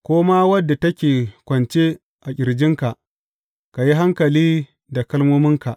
Ko ma wadda take kwance a ƙirjinka, ka yi hankali da kalmominka.